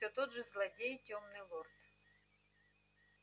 все тот же злодей тёмный лорд